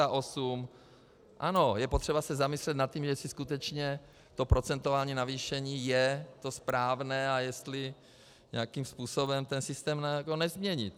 Ano, je potřeba se zamyslet nad tím, jestli skutečně to procentuální navýšení je to správné a jestli nějakým způsobem ten systém nezměnit.